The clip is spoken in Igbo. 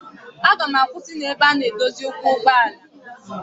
Aga m akwụsị n'ebe a na-edozi ụkwụ ụgbọala.